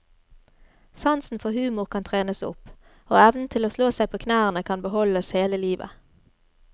Sansen for humor kan trenes opp, og evnen til å slå seg på knærne kan beholdes hele livet.